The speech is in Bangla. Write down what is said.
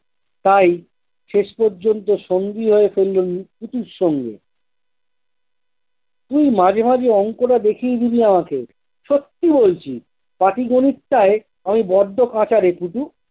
তাই শেষ পর্যন্ত সঙ্গী হয়ে ফেললুম পুটুর সঙ্গে তুই মাঝে মাঝে অঙ্কটা দেখিয়ে দিবি আমাকে সত্যি বলছি পাটি গণিতটাই আমি বড্ড কাঁচা রে পুটু।